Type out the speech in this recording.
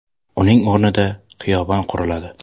Uning o‘rnida xiyobon quriladi.